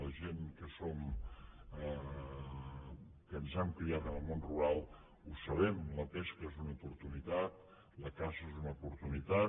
la gent que som que ens hem criat en el món rural ho sabem la pesca és una oportunitat la caça és una oportunitat